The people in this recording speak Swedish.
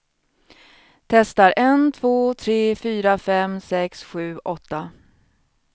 Testar en två tre fyra fem sex sju åtta.